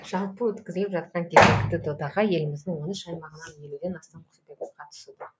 жалпы өткізіліп жатқан кезекті додаға еліміздің он үш аймағынан елуден астам құсбегі қатысуда